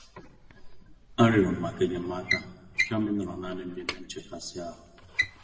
A rịọrọ m maka enyemaka kama ịnọrọ nanịm nime nchekasị-ahụ